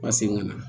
Ma segin ka na